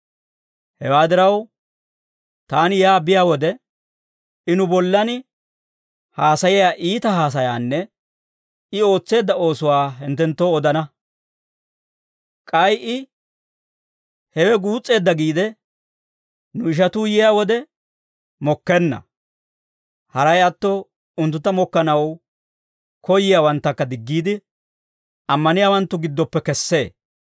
Hewaa diraw, taani yaa biyaa wode, I nu bollan haasayiyaa iita haasayaanne I ootseedda oosuwaa hinttenttoo odana; k'ay I hewe guus's'eedda giide, nu ishatuu yiyaa wode mokkenna; haray atto unttuntta mokkanaw koyyiyaawanttakka diggiide, ammaniyaawanttu giddoppe kessee.